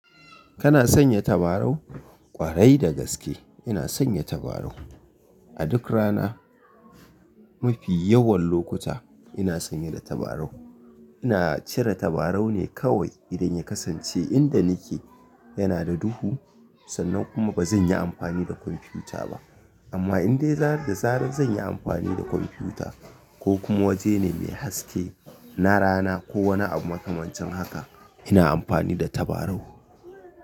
Kana sanya tabarau? Ƙwarai da gaske ina sanya tabarau. A duk rana, mafi yawan lokuta ina sanye da tabarau. Ina cire tabarau ne kawai idan ya kasance inda nike yana da duhu sannan kuma bazan yi amfani da kwamfuta ba. Amma indai zarar da zarar zan yi amfani da kwamfuta ko kuma wajene mai haske na rana ko wani abu makamancin haka ina amfani da tabarau.